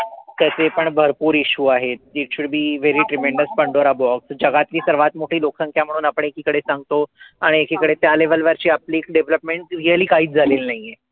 त ते पण भरपूर issue आहेत. It should be very tremendous pandora box जगातली सर्वात मोठी लोकसंख्या म्हणून आपण एकीकडे सांगतो. आणि एकीकडे त्या level वरची आपली development really काहीच झालेली नाहीये.